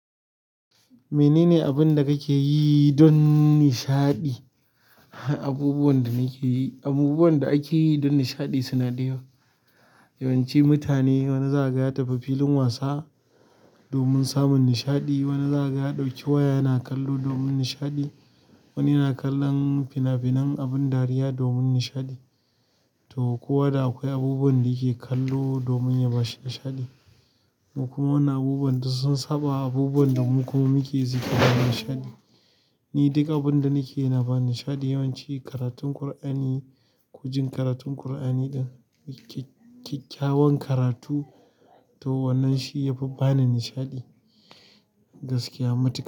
Menene abin da kake yi don nishaɗi? Abubuwan da nake yi, abubuwan da ake yi don nishaɗi suna da yawa. Yawan ci mutane wani zakaga ya tafi filin wasa domin samun nishaɗi, wani zakaga ya ɗauki waya yana kallo domin nishaɗi, wani yana kallon fina-finan abin dariya domin nishaɗi to kowa da akwai abubuwan da yake kallo domin ya bashi nishaɗi. Mu kuma wannan abubuwan duk sun saɓa abubuwan da mu kuma muke yi domin nishaɗi. Ni duk abun da nake yana bani nishaɗi, yawanci karatun Ƙur'ani, ko jin karatun Ƙur'ani ɗin kyakkyawan karatu to wannan shi yafi bani nishaɗi gaskiya matuka.